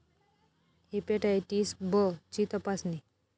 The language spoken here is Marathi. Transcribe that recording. हिपॅटायटीस ब ची तपासणी